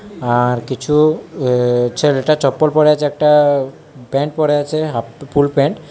আর কিছু আ্য ছেলেটা চপ্পল পরে আছে একটা প্যান্ট পরে আছে হাফ ফুলপ্যান্ট ।